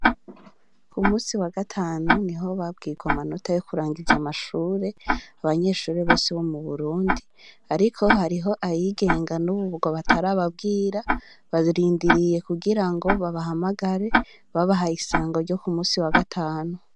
Ku munsi wa gatanu, niho babwirwa amanota yo kurangiza amashure abanyeshure bose bo mu Burundi; ariko hariho ayigenga n'ubu ngo batarababwira, barindiriye kugira ngo babahamagare, babahaye isango ryo ku munsi wa gatanu.